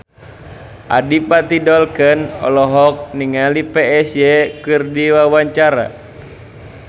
Adipati Dolken olohok ningali Psy keur diwawancara